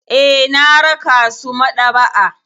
Eh, na raka su maɗaba'a.